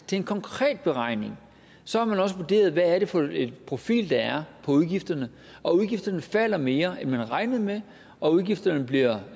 til en konkret beregning så har man også vurderet hvad er det for en profil der er på udgifterne og udgifterne falder mere end man havde regnet med og udgifterne bliver